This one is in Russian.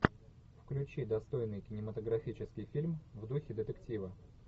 включи достойный кинематографический фильм в духе детектива